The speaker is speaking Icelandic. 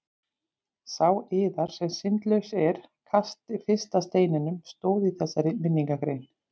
Sá yðar sem syndlaus er kasti fyrsta steininum, stóð í þessari minningargrein.